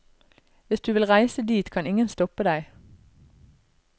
Hvis du vil reise dit, kan ingen stoppe deg.